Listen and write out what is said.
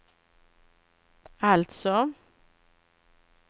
alltså